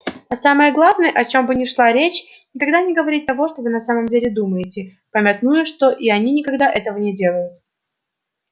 а самое главное о чём бы ни шла речь никогда не говорить того что вы на самом деле думаете памятуя что и они никогда этого не делают